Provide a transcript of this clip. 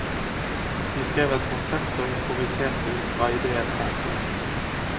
De skrev et konsept og improviserte ut fra idéene der.